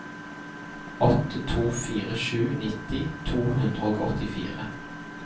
åtte to fire sju nitti to hundre og åttifire